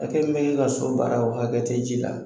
Hakɛ min b'e ka so baara o hakɛ tɛ ji la.